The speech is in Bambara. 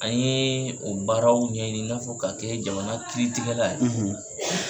An ye o baaraw ɲɛɲini i n'a fɔ k'a kɛ jamana kiritigɛla ye,